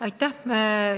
Aitäh!